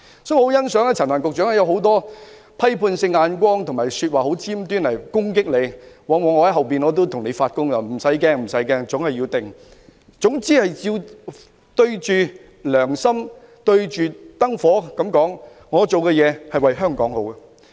所以，我很欣賞陳帆局長，他要承受眾多批判目光及尖銳說話的攻擊——我會在背後為他發功，他無須害怕——總之要鎮定，要對着良心、對着燈火說：我做的事是為香港好。